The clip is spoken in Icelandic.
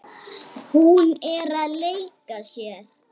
Hún er að leika sér.